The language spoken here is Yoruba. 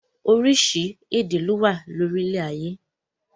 Oríṣiríṣi èdè ló wà ní orílẹ̀ ayé.